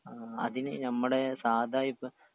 അതിന് നമ്മടേ സാധാ ഇപ്പൊ.